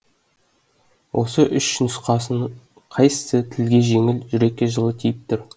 осы үш нұсқаның қайсысы тілге жеңіл жүрекке жылы тиіп тұр